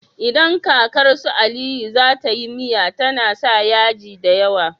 Idan kakar su aliyu zata yi miya tAna sa yaji dayawa